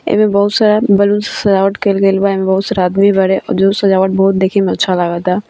एमे बहुत सारा बैलून्स से सजावट केल गेल बा एमे बहुत सारा आदमी बारे और जो सजावट बहुत देखे में अच्छा लागता।